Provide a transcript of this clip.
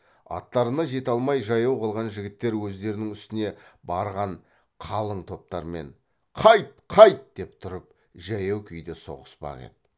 аттарына жете алмай жаяу қалған жігіттер өздерінің үстіне барған қалың топтармен қайт қайт деп тұрып жаяу күйде соғыспақ еді